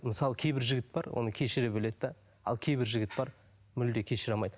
мысалы кейбір жігіт бар оны кешіре біледі де ал кейбір жігіт бар мүлде кешіре алмайды